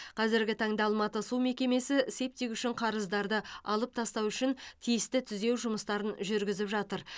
қазіргі таңда алматы су мекемесі септик үшін қарыздарды алып тастау үшін тиісті түзеу жұмыстарын жүргізіп жатыр